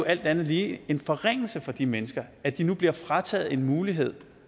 alt andet lige en forringelse for de mennesker at de nu bliver frataget en mulighed